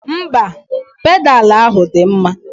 Mba, pedalu ahụ dị mma.